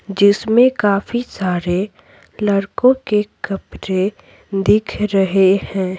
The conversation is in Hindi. जिसमें काफी सारे लड़कों के कपड़े दिख रहे हैं।